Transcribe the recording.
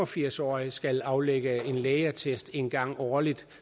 firs årig skal aflægge lægeattest en gang årligt